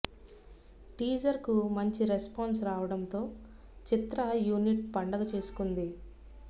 teaser కు మంచి response రావడం తో చిత్ర యూనిట్ పండగ చేసుకుంది